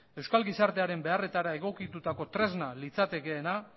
euskal gizartearen beharretara egokitutako tresna litzatekeena